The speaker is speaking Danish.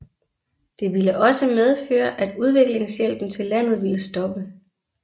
Det ville også medføre at udviklingshjælpen til landet ville stoppe